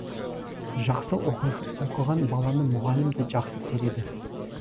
жақсы оқыған баланы мұғалім де жақсы көреді